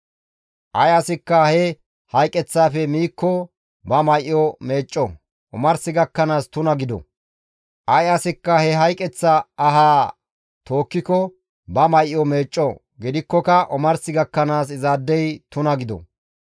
Ay asikka he hayqeththaafe miikko ba may7o meecco; omars gakkanaas tuna gido; ay asikka he hayqeththa ahaa tookkiko ba may7o meecco; gidikkoka omars gakkanaas izaadey tuna gido.